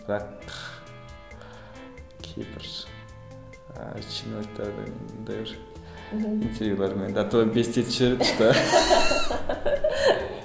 бірақ кейбір ыыы чиновниктердің мындай бір интервьюлерімен до того бесить етіп жібереді